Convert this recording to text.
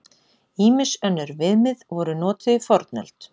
Ýmis önnur viðmið voru notuð í fornöld.